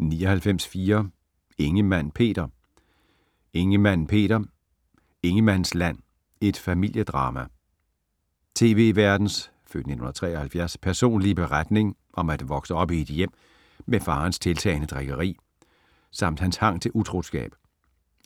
99.4 Ingemann, Peter Ingemann, Peter: Ingemanns land: et familiedrama Tv-værtens (f. 1973) personlige beretning om at vokse op i et hjem med farens tiltagende drikkeri - samt hans hang til utroskab.